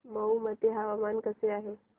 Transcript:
मौ मध्ये हवामान कसे आहे